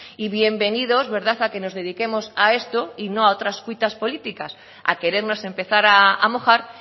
y bienvenidos verdad a que nos dediquemos a esto y no a otras cuitas políticas a querernos empezar a mojar